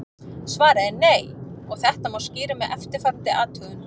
Svarið er nei og þetta má skýra með eftirfarandi athugun.